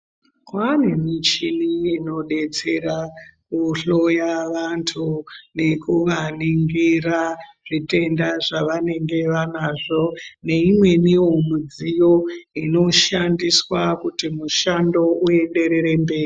Kwanemichini inodetsera kuhloya vanthu, nekuvaningira zvitenda zvavanenge vanazo, neyimweniwo midziyo inoshandiswa kuti mushando uyenderere mberi.